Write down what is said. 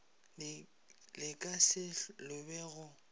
le ka se lobe go